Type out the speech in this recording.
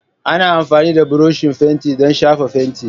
Ana amfani da buroshi fenti don shafa fenti.